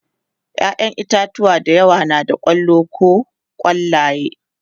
ƴaƴan itatauwa da yawa na da kwallo koh kwallaye